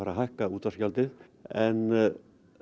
að hækka útvarpsgjaldið en